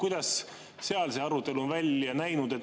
Kuidas seal see arutelu on välja näinud?